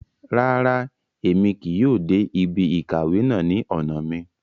Ràrá, Èmí kìí yóò dé ibí ìkàwé náà ní ọna mí